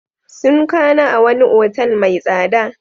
Sun kwana a wani otal mai tsada.